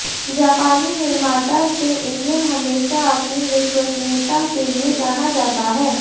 जापानी निर्माता से इंजन हमेशा अपनी विश्वसनीयता के लिए जाना जाता है